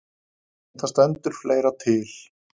En það stendur fleira til.